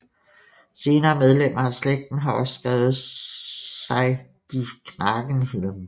Senere medlemmer af slægten har også skrevet sig de Knagenhielm